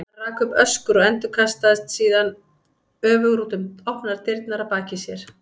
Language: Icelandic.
Hann rak upp öskur og endurkastaðist síðan öfugur út um opnar dyrnar að baki sér.